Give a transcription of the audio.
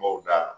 N b'o da